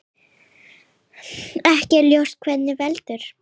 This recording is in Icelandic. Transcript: Ekki er ljóst hvað veldur.